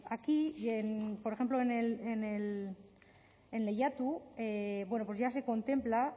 aquí por ejemplo en lehiatu ya se contempla